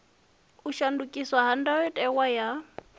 u shandukiswa ha ndayotewa ya